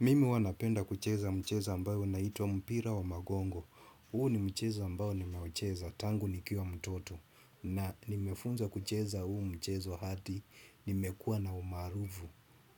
Mimi huwa napenda kucheza mchezo ambao unaitwa mpira wa magongo. Huu ni mchezo ambao nimeucheza, tangu nikiwa mtoto. Na nimefunza kucheza huu mchezo hadi, nimekua na umarufu